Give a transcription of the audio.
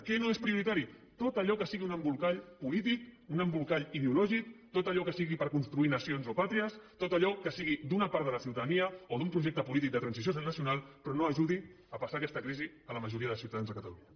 què no és prioritari tot allò que sigui un embolcall polític un embolcall ideològic tot allò que sigui per construir nacions o pàtries tot allò que sigui d’una part de la ciutadania o d’un projecte polític de transició nacional però no ajudi a passar aquesta crisi a la majoria de ciutadans de catalunya